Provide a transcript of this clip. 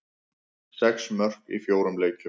Sex mörk í fjórum leikjum.